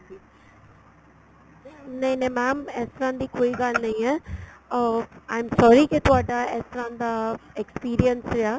ਨਹੀਂ ਨਹੀਂ mam ਇਸ ਤਰ੍ਹਾਂ ਦੀ ਕੋਈ ਗੱਲ ਨਹੀਂ ਏ ਅਹ I am sorry ਕੀ ਤੁਹਾਡਾ ਇਸ ਤਰ੍ਹਾਂ ਦਾ experience ਰਿਹਾ